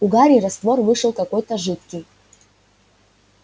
у гарри раствор вышел какой-то жидкий